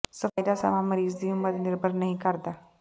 ਸਫਾਈ ਦਾ ਸਮਾਂ ਮਰੀਜ਼ ਦੀ ਉਮਰ ਤੇ ਨਿਰਭਰ ਨਹੀਂ ਕਰਦਾ